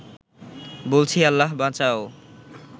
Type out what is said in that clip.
বলছি আল্লাহ বাঁচাও